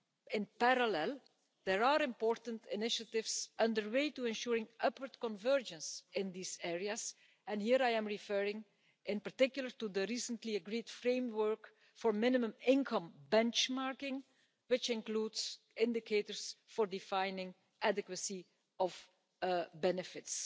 In parallel, there are important initiatives underway to ensuring upwards convergence in these areas, and here I am referring in particular to the recently agreed framework for minimum income benchmarking which includes indicators for defining adequacy of benefits.